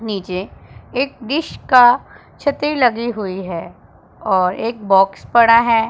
नीचे एक डिश का छतरी लगी हुई है और एक बॉक्स पड़ा है।